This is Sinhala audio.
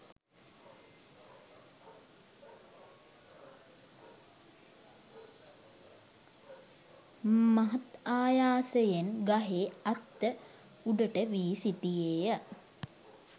මහත් ආයාසයෙන් ගහේ අත්ත උඩට වී සිටියේය.